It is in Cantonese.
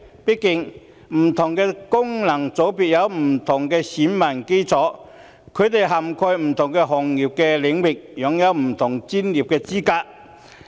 畢竟，不同功能界別有不同選民基礎，他們涵蓋不同行業領域，擁有不同專業資格。